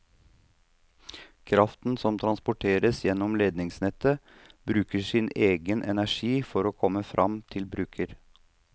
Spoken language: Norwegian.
Kraften som transporteres gjennom ledningsnettet, bruker av sin egen energi for å komme frem til bruker.